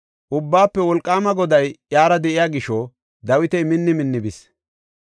Ubbaafe Wolqaama Goday iyara de7iya gisho Dawiti minni minni bis.